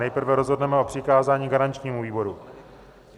Nejprve rozhodneme o přikázání garančnímu výboru.